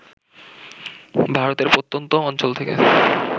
ভারতের প্রত্যন্ত অঞ্চল থেকে